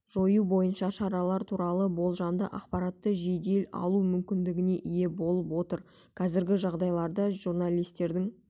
жою бойынша шаралар туралы болжамды ақпаратты жедел алу мүмкіндігіне ие болып отыр қазіргі жағдайларда журналистердің